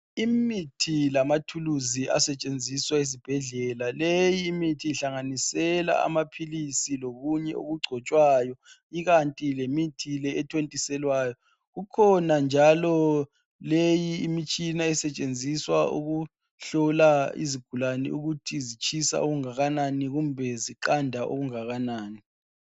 Imithi lamathuluzi asetshenziswa ezibhedlela. Leyi mithi ihlanganisela amaphilisi lokunye okugcotshwayo ikanti lemithi le ethontiselwayo kukhona njalo leyi imitshina esetshenziswa ukuhlola izigulane ukuthi zitshisa okungakanani kumbe ziqanda okungakanani.